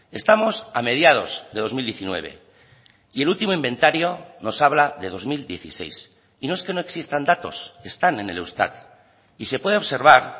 estamos a mediados de dos mil diecinueve y el último inventario nos habla de dos mil dieciséis y no es que no existan datos están en el eustat y se puede observar